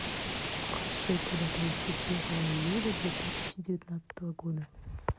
курс шекеля тридцать первого июля две тысячи девятнадцатого года